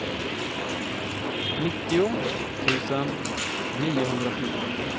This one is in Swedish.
nittio tusen niohundrafjorton